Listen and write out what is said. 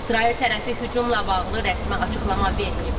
İsrail tərəfi hücumla bağlı rəsmi açıqlama verməyib.